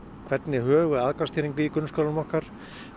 hvernig högum við aðgangsstýringu í grunnskólum okkar